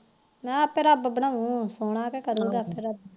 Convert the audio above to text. ਮੈ ਆਪੇ ਰੱਬ ਬਣਾਉ ਸੋਹਣਾ ਤੇ ਕਰੂਗਾ